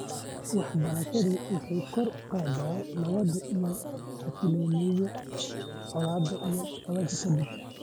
Waxbarashadu waxay kor u qaadaa nabadda iyo xasilloonida colaadaha ka dib.